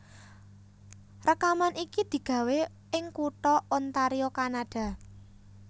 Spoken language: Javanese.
Rèkaman iki digawé ing kutha Ontario Kanada